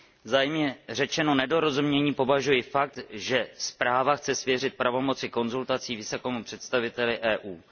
Za jemně řečeno nedorozumění považuji fakt, že zpráva chce svěřit pravomoci konzultací vysokému představiteli EU.